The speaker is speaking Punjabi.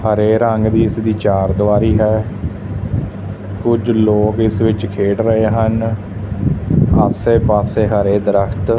ਹਰੇ ਰੰਗ ਦੀ ਇਸਦੀ ਚਾਰ ਦੁਆਰੀ ਹੈ ਕੁਝ ਲੋਕ ਇਸ ਵਿੱਚ ਖੇਡ ਰਹੇ ਹਨ ਆਸੇ ਪਾਸੇ ਹਰੇ ਦਰਖਤ--